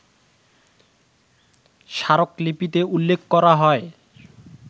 স্মারকলিপিতে উল্লেখ করা হয়